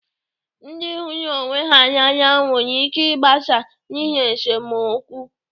Ndị hụrụ ọnwe ha n'anya nwere ịke ịgbasa n'ihi esemokwu.